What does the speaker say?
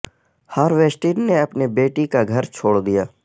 ہار ویسٹین نے اپنی بیٹی کا گھر چھوڑ دیا